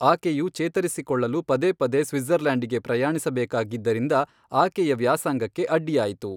ಆಕೆಯು ಚೇತರಿಸಿಕೊಳ್ಳಲು ಪದೇ ಪದೇ ಸ್ವಿಟ್ಜರ್ಲ್ಯಾಂಡಿಗೆ ಪ್ರಯಾಣಿಸಬೇಕಾಗಿದ್ದರಿಂದಾಗಿ ಆಕೆಯ ವ್ಯಾಸಂಗಕ್ಕೆ ಅಡ್ಡಿಯಾಯಿತು.